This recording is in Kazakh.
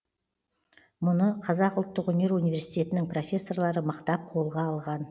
мұны қазақ ұлттық өнер университетенің профессорлары мықтап қолға алған